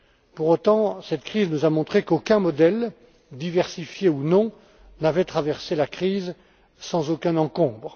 Pour autant, cette crise nous a montré qu'aucun modèle diversifié ou non n'avait traversé la crise sans encombre.